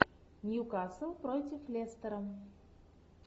ньюкасл против лестера